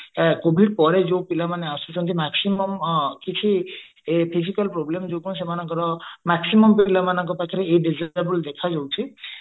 covid ପରେ ଯୋଉ ପିଲା ମାନେ ଆସୁଛନ୍ତି maximum କିଛି physical problem ଯୋଗୁଁ maximum ପିଲା ମାନଙ୍କ ପାଖରେ ଏଇ ଦେଖା ଯାଉଛି